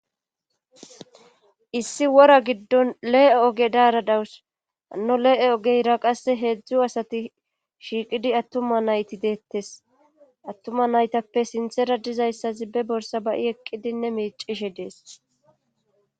Issi wora giddon lee'e oge daara dawus ano lee7e ogeyra qasse heedzdzu asati shiiqidi attuma nayti deettes attuma naytappe sinthera dizayssazi be borsa bayi eqqidinne miicishe dees